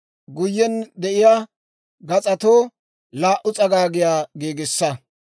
Guyen de'iyaa gas'atoo laa"u s'agaagiyaa giigissa.